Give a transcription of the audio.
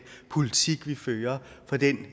politik vi fører for den